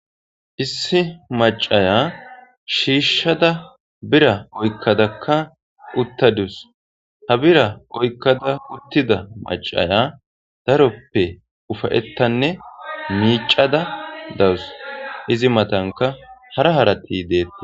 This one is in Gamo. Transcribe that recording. issi macaya shiishshada bira oykkadakka uttadus ha bira oykkada uttida macaya daroppe ufayettanne miicada dawus izi matanka hara harati deetta